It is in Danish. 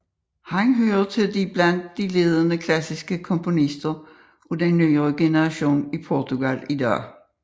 Han hører til blandt de ledende klassiske komponister af den nye generation i Portugal i dag